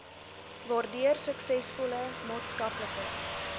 waardeur suksesvolle maatskaplike